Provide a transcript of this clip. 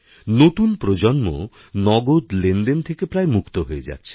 নতুন প্রজন্ম নগদ লেনদেন থেকে প্রায় মুক্ত হয়ে যাচ্ছে